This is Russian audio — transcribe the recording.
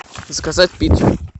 заказать пиццу